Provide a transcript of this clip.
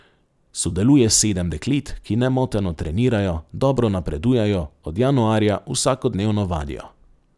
Sodeluje sedem deklet, ki nemoteno trenirajo, dobro napredujejo, od januarja vsakodnevno vadijo.